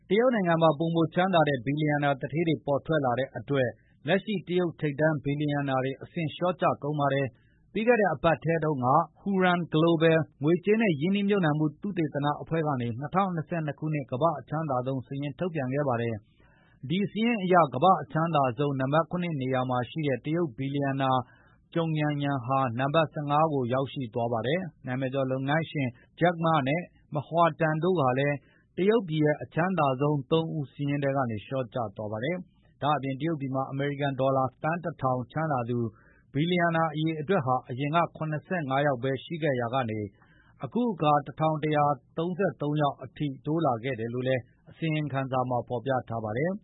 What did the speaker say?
တရုတ်နိုင်ငံမှာ ပိုမိုချမ်းသာတဲ့ ဘီလီယံနာ သူဌေးတွေ ထပ်မံပေါ်ထွက်လာတဲ့အတွက် လက်ရှိတရုတ်ထိပ်တန်းဘီလီယံနာတွေ အဆင့်လျော့ကျကုန်ပါတယ်။ ပြီးခဲ့တဲ့ သီတင်းပတ်ထဲက Hurun Global ငွေကြေးနဲ့ရင်းနှီးမြှုပ်နှံမှု သုတေသန အဖွဲ့ကနေ ၂၀၂၂ ခုနှစ်ကမ္ဘာ့အချမ်းသာဆုံးစာရင်းထုတ်ပြန်ခဲ့ပါတယ်။ ဒီစာရင်းအရ ကမ္ဘာ့အချမ်းသာဆုံး နံပတ် ၇ နေရာမှာရှိတဲ့ တရုတ်ဘီလီယံနာ Zhogn Yanyan ဟာ နံပတ် ၁၅ နေရာကိုရောက်သွားပါတယ်။ နာမည်ကျော် လုပ်ငန်းရှင် Jack Ma နဲ့ Ma Hua-teng တို့ဟာလည်း တရုတ်ပြည်ရဲ့အချမ်းသာဆုံး ၃ ဦးစာရင်းထဲကနေ လျော့ကျသွားခဲ့ပါတယ်။ ဒါ့အပြင် တရုတ်ပြည်မှာ အမေရိကန်ဒေါ်လာသန်း ၁၀၀၀ ချမ်းသာသူ ဘီလီယံနာ အရေအတွက်ဟာ အရင်က ၇၅ ယောက်ဘဲရှိခဲ့ရာကနေ၊ အခုအခါ ၁၁၃၃ ယောက် အဖြစ်တိုးလာခဲ့တယ်လို့လည်း ဒီအစီရင်ခံစာမှာဖေါ်ပြထားပါတယ်။